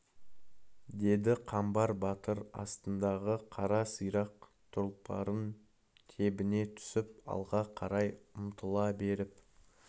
деді қамбар батыр астындағы қара сирақ тұлпарын тебіне түсіп алға қарай ұмтыла беріп